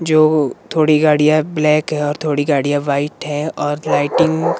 जो थोड़ी गाड़ियाँ ब्लैक है और थोड़ी गाड़ियाँ वाइट है और लाइटिंग --